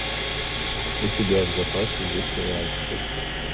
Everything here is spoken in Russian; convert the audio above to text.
у тебя в запасе есть сериал стыд